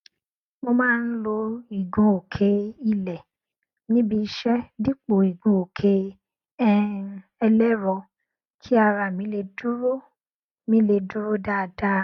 mo má n lo ìgunòkè ilé níbi iṣẹ dípò igunòkè um ẹlẹrọ kí ara mi lè dúró mi lè dúró dáadáa